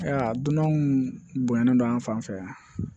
Aa dunanw bonyana an fan fɛ